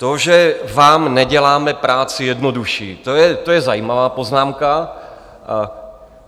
To, že vám neděláme práci jednodušší, to je zajímavá poznámka.